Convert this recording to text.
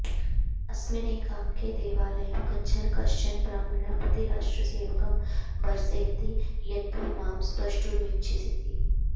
अस्मिन्नेकाङ्के देवालयं गच्छन् कश्चन ब्राह्मणः पथि राष्ट्रसेवकं भर्सयति यत्त्वं मां स्पर्ष्टुमिच्छसीति